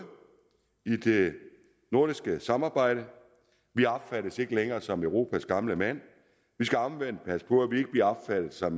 i det nordiske samarbejde vi opfattes ikke længere som europas gamle mand vi skal omvendt passe på at vi ikke bliver opfattet som